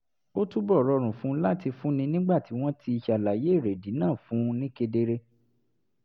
ó túbọ̀ rọrùn fún un láti fúnni nígbà tí wọ́n ti ṣàlàyé èrèdí náà fún un ni kedere